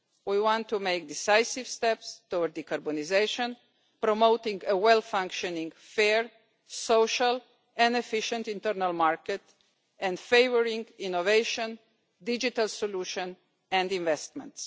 We want to take decisive steps towards decarbonisation, promoting a well-functioning, fair, social and efficient internal market, favouring innovation, digital solutions and investments.